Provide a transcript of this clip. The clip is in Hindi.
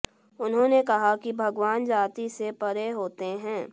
उन्होंने कहा कि भगवान जाति से परे होते हैं